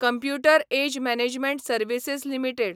computer age management services limited